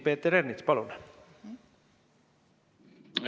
Peeter Ernits, palun!